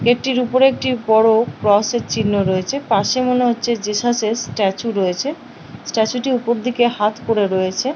একটির ওপরের একটি বড় ক্রস এর চিহ্ন রয়েছে পাশে মনে হচ্ছে জেসাস এর স্ট্যাচু রয়েছে স্ট্যাচু ওপর দিকে হাত করে রয়েছে।